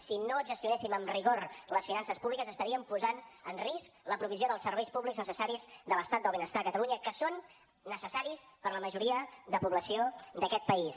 si no gestionéssim amb rigor les finances públiques estaríem posant en risc la provisió dels serveis públics necessaris de l’estat del benestar a catalunya que són necessaris per a la majoria de població d’aquest país